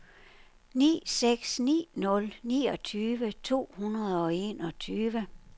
ni seks ni nul niogtyve to hundrede og enogtyve